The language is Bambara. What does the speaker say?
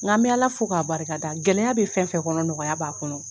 Nga n be ala fo k'a barika da .Gɛlɛya be fɛn fɛn kɔnɔ, nɔgɔya b'a kɔnɔ.